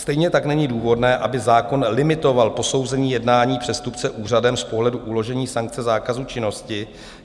Stejně tak není důvodné, aby zákon limitoval posouzení jednání přestupce úřadem z pohledu uložení sankce zákazu činnosti.